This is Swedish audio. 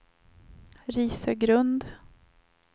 Risögrund